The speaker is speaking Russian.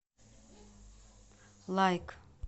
лайк